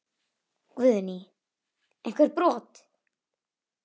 Guðný: Einhver brot?